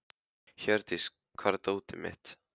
Hjördís, hvar er dótið mitt?